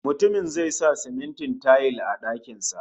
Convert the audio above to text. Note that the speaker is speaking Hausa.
Mutumin zai sa simintin tayil a dakin sa